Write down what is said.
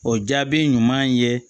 O jaabi ɲuman ye